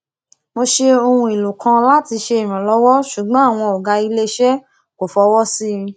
mo ṣe ohun èlò kan láti ṣe ìrànlọwọ ṣùgbọn àwọn ọgá ilé iṣẹ kò fọwọ sí i